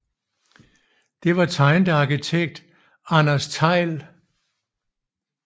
Det var tegnet af arkitekt Andreas Thejll